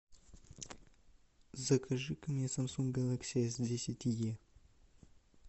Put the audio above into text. закажи ка мне самсунг гелакси эс десять е